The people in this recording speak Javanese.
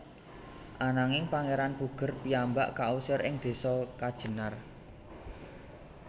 Ananging Pangeran Puger piyambak kausir ing desa Kajenar